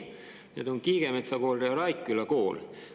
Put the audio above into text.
Need on Kiigemetsa Kool ja Raikküla Kool.